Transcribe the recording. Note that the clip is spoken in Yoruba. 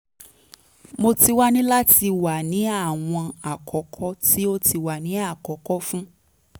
mo ti wa ni lati wa ni awọn akọkọ ti o ti wa ni akọkọ fun